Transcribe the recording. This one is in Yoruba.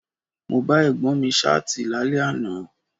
Mo bá Ẹ̀gbọ́n mi Ṣáàtì lálẹ́ àná